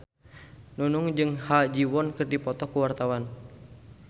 Nunung jeung Ha Ji Won keur dipoto ku wartawan